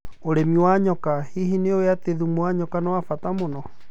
ũrĩmi wa njoka: Hihi nĩ ũĩ atĩ thumu wa nyoka nĩ wa bata mũno?